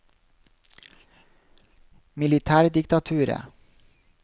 militærdiktaturet